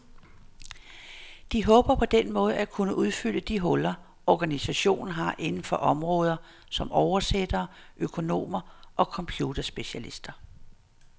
De håber på den måde at kunne udfylde de huller, organisationen har inden for områder som oversættere, økonomer og computerspecialister.